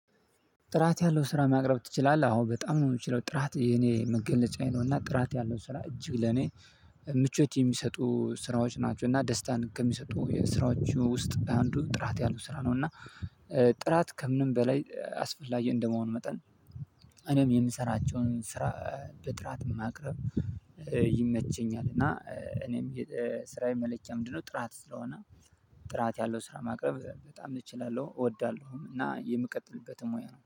ጥራት ያለው ስራ ማቅረብ ትችላለህ? አወ በጣም ነው የምችለው። ጥራት የኔ መገለጫዬ ነው። እና ጥራት ያለው ስራ እጅግ ለኔ ምቾት የሚሰጡ ስራዎች ናቸው። እና ደስታን ከሚሰጡ የስራዎቹ ውስጥ አንዱ ጥራት ያሉ ስራ ነው እና- ጥራት ከምንም በላይ አስፈላጊ እንደመሆን መጠን እኔም የምሰራቸውን ስራ በጥራት ማቅረብ ይመቸኛል። እና እኔም ስራዬ መለኪያ ምንድነው ጥራት ስለሆነ ጥራት ያለው ስራ ማቅረብ በጣም እችላለሁ። እወዳለሁም። እና የምቀጥልበትም ሙያ ነው።